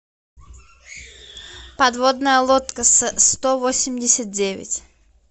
подводная лодка с сто восемьдесят девять